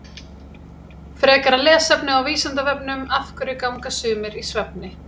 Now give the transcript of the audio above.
Frekara lesefni á Vísindavefnum Af hverju ganga sumir í svefni?